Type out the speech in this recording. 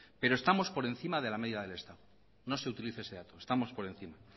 pero estamos por encima de la media del estado no se utiliza ese dato estamos por encima